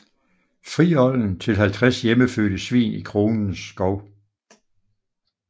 Fri olden til 50 hjemmefødte svin i kronens skove